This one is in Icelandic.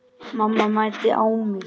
Mamma mændi á mig.